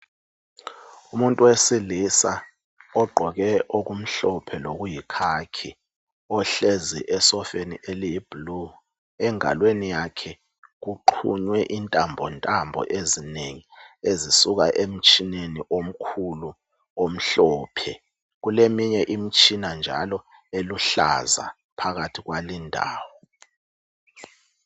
Umuntu wesilisa ogqoke okumhlophe lokuyikhakhi ohlezi esofeni eliyiblue, engalweni yakhe uxhunywe intambo ntambo ezinengi ezisuka emtshineni omkhulu omhlophe, kuleminye imtshina njalo eluhlaza phakathi kwalindawo.